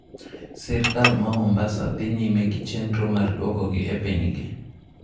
Sirkal ma Mombasa dhi nyime gi chenro mar duokogi e pinygi.